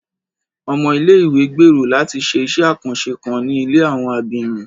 Ọmọ ilé-ìwé gbèrò láti ṣé iṣẹ àkànṣe kan ní ilé àwọn abirùn